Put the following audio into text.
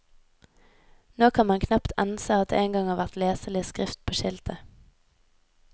Nå kan man knapt ense at det en gang har vært leselig skrift på skiltet.